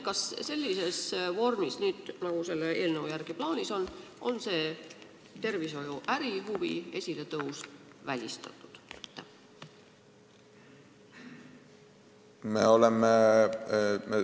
Kas sellises vormis, nagu selle eelnõu järgi plaanis on, on see tervishoiu ärihuvide esiletõus välistatud?